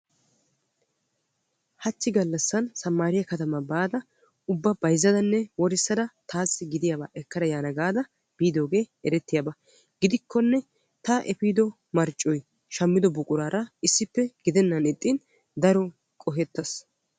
Hachchi gallasan sammaariyaa katamaa baada ubba bayzzadanne worissada taassi gidiyaaba ekkada yaana gaada biidoogee erettiyaaba. gidikkonne ta efiido marccoy shammido buquraara issippe gidennan ixxin daro qohettaas.